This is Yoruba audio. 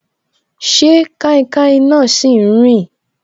Ṣé kainkain náà si n rin